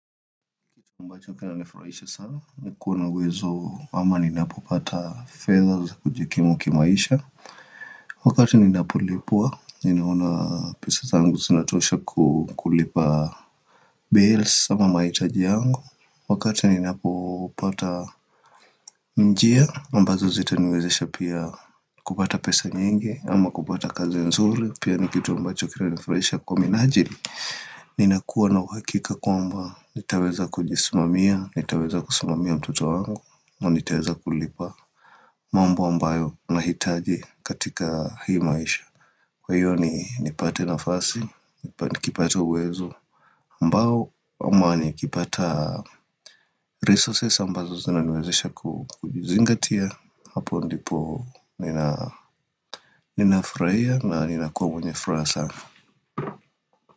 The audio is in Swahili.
Ambacho kina nifurahisha sana nikuwa na wezo ama ninapopata fedha za kujikimwa kimaisha Wakati ninapolipua ninaona pesa zangu zinatosha kukulipa Bills ama maitaji yangu Wakati ninapopata njia ambazo zita niwezesha pia kupata pesa nyingi ama kupata kazi nzuri pia nikitu ambacho kina nifurahisha kwa minajili Ninakuwa na uhakika kwamba nitaweza kujisimamia, nitaweza kusimamia mtoto wangu na nitaweza kulipa mambo ambayo nahitaji katika hii maisha Kwa hiyo ni nipate nafasi, nikipate uwezo ambao ama ni kipata resources ambazo zina niwezesha kujizingatia Hapo ndipo ninafurahia na nina kuwa mwenye furahasa.